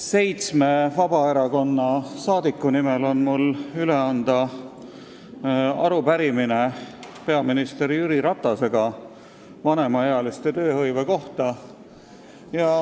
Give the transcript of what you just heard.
Seitsme Vabaerakonna fraktsiooni liikme nimel on mul peaminister Jüri Ratasele üle anda arupärimine vanemaealiste tööhõive kohta.